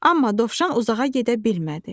Amma dovşan uzağa gedə bilmədi.